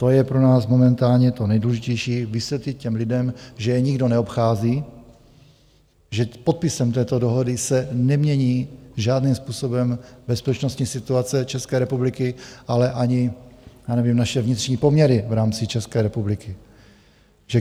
To je pro nás momentálně to nejdůležitější - vysvětlit těm lidem, že je nikdo neobchází, že podpisem této dohody se nemění žádným způsobem bezpečnostní situace České republiky, ale ani, já nevím, naše vnitřní poměry v rámci České republiky.